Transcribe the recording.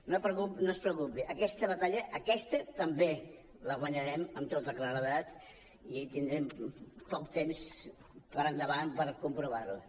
no es preocupi aquesta batalla aquesta també la guanyarem amb tota claredat i tindrem poc temps per endavant per comprovar ho